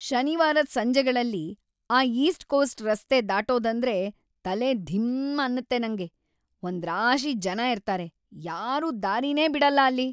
ಶನಿವಾರದ್ ಸಂಜೆಗಳಲ್ಲಿ ಆ ಈಸ್ಟ್‌ಕೋಸ್ಟ್ ರಸ್ತೆ ದಾಟೋದಂದ್ರೇ ತಲೆ ಧಿಂ ಅನ್ನತ್ತೆ ನಂಗೆ, ಒಂದ್ರಾಶಿ ಜನ ಇರ್ತಾರೆ, ಯಾರೂ ದಾರಿನೇ ಬಿಡಲ್ಲ ಅಲ್ಲಿ.